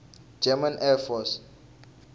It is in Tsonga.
german air force